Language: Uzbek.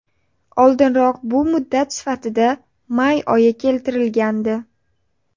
Oldinroq bu muddat sifatida may oyi keltirilgandi .